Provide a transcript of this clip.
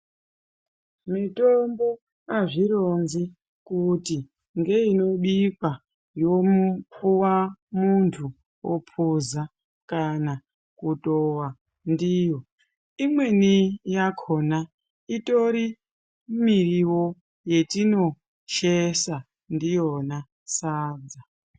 Mitombo azvironzi kuti ngeinobikwa yopuwa muntu ophuza kana kutowa ndiyo imweni yakhona itori miriwo yetinosheesa ndiyona sadza.